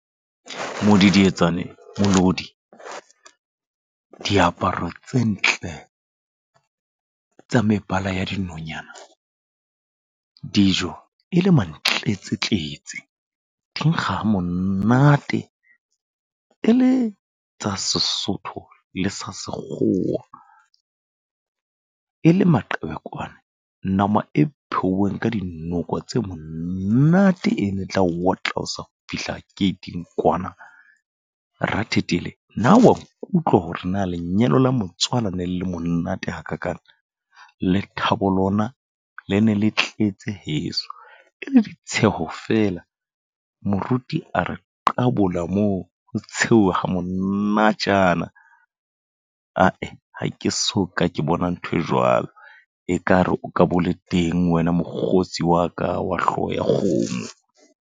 Modidietsane, melodi, diaparo tse ntle tsa mebala ya dinonyana. Dijo e le mantletsetletse. Di nkga ha monate, e le tsa Sesotho le tsa sekgowa. E le maqebelekwane, nama e pheuweng ka dinoko tse monate ene tla o wotlat o sa fihla gate-ng kwana. Rathethele na wa nkutlwa hore na lenyalo la motswala ne le monate hakakang. Lethabo lona, le ne le tletse heso. E le ditsheho fela. Moruti a re qabola moo ho tshewa monatjana. Ae ha ke so ka ke bona ntho e jwalo. Ekare o ka bole teng wena mokgotsi wa ka wa hlooho ya kgomo.